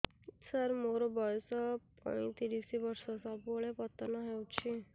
ସାର ମୋର ବୟସ ପୈତିରିଶ ବର୍ଷ ସବୁବେଳେ ପତନ ହେଉଛି